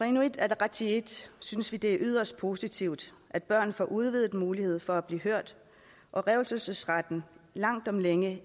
inuit ataqatigiit synes vi det er yderst positivt at børn får en udvidet mulighed for at blive hørt og at revselsesretten langt om længe